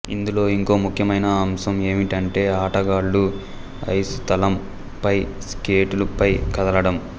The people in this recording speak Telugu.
ఇందులో ఇంకో ముఖ్యమైన అంశం ఏఁవిటంటే ఆటగాళ్ళు ఐసుతలం పై స్కేటుల పై కదలడం